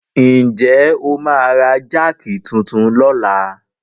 Ǹ jẹ́ o máa ra jáàkì titun lọ́la?